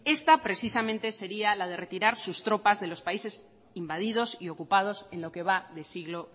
esta precisamente sería la de retirar sus tropas de los países invadidos y ocupados en lo que va de siglo